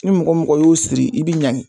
Ni mɔgɔmɔgɔ y'o siri i bi ɲangi